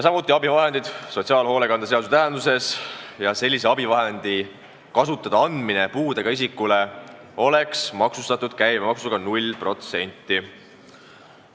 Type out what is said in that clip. ... samuti abivahend sotsiaalhoolekande seaduse tähenduses ja sellise abivahendi kasutada andmine puudega isikule oleks maksustatud käibemaksuga 0%.